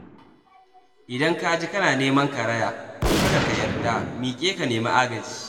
Idan kaji kana neman karaya, kada ka yarda, miƙe ka nemi agaji.